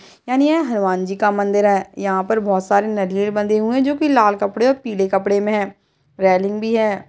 यानि यह हनुमान जी का मंदिर है यह पर बोहोत सारे नारियल बंधे हुए हैं जोकि लाल कपड़े और पीले कपड़े मे हैं रेलिंग भी है।